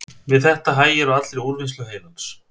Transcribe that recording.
Við þetta hægir á allri úrvinnslu heilans.